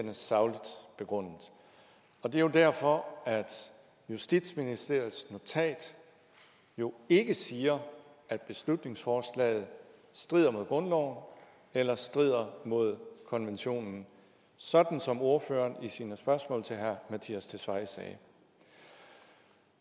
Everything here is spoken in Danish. er sagligt begrundet og det er derfor at justitsministeriets notat jo ikke siger at beslutningsforslaget strider mod grundloven eller strider mod konventionen sådan som ordføreren i sine spørgsmål til herre mattias tesfaye sagde